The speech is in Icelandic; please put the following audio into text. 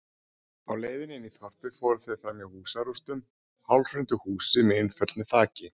Á leiðinni inn í þorpið fóru þau fram hjá húsarústum, hálfhrundu húsi með innföllnu þaki.